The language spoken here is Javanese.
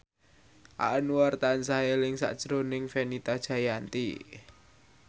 Anwar tansah eling sakjroning Fenita Jayanti